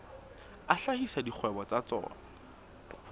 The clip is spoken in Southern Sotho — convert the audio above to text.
a hlahisa dikgwebo tsa tsona